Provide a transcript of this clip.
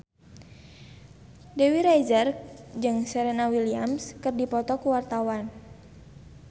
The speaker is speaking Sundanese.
Dewi Rezer jeung Serena Williams keur dipoto ku wartawan